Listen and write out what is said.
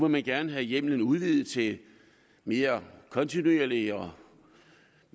man gerne have hjemmelen udvidet til mere kontinuerlig og